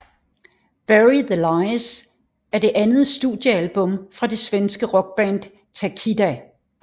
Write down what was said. Bury the Lies er det andet studiealbum fra det svenske rockband Takida